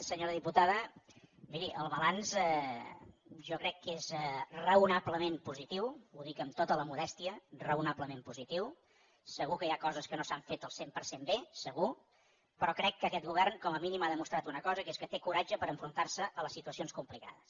senyora diputada miri el balanç jo crec que és raonablement positiu ho dic amb tota la modèstia raonablement positiu segur que hi ha coses que no s’han fet al cent per cent bé segur però crec que aquest govern com a mínim ha demostrat una cosa que és que té coratge per enfrontar se a les situacions complicades